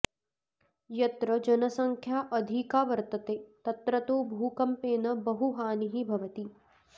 यत्र जनसङ्ख्या अधिका वर्तते तत्र तु भूकम्पेन बहुहानिः भवति